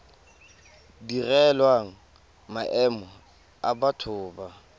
direlwang maemo a batho ba